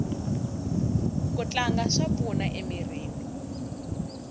ku tlanga swa pfuna emirini